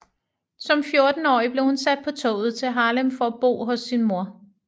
Som fjortenårig blev hun sat på toget til Harlem for at bo hos sin mor